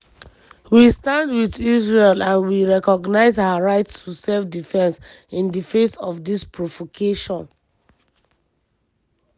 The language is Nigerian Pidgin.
"we stand wit israel and we recognise her right to self-defence in di face of dis provocation.